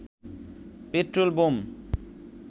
petrol bomb